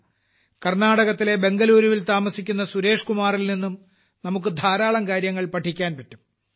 കർണ്ണാടകത്തിലെ ബാംഗ്ളൂരിൽ താമസിക്കുന്ന സുരേഷ്കുമാറിൽനിന്നും നമുക്ക് ധാരാളം കാര്യങ്ങൾ പഠിക്കാൻ പറ്റും